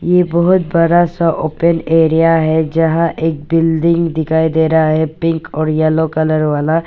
ये बहोत बड़ा सा ओपन एरिया है जहां एक बिल्डिंग दिखाई दे रहा है पिंक और येलो कलर वाला।